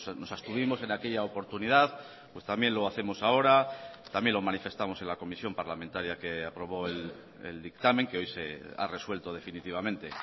nos abstuvimos en aquella oportunidad pues también lo hacemos ahora también lo manifestamos en la comisión parlamentaria que aprobó el dictamen que hoy se ha resuelto definitivamente